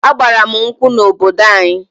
A gbara m nkwụ n'obodo anyi